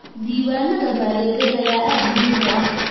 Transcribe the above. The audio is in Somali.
Diiwaanada maaliyadeed ayaa aad muhiim u ah.